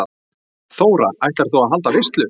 Þóra: Ætlar þú að halda veislu?